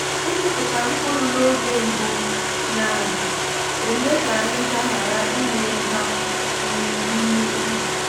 ịkụpụta mkpụrụ n’oge mbụ na-eme ka ahịhịa ghara imeri ha n’ime ubi.